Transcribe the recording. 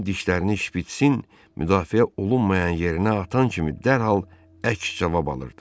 O dişlərini şpitsin müdafiə olunmayan yerinə atan kimi dərhal əks cavab alırdı.